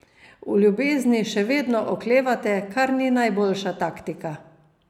V ljubezni še vedno oklevate, kar ni najboljša taktika.